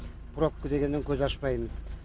пробка дегеннен көз ашпаймыз